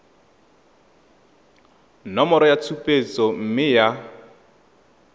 nomoro ya tshupetso mme ya